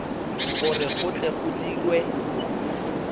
gore go tle go dirwe